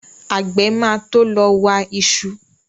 Àgbẹ̀ máa to lọ wa iṣu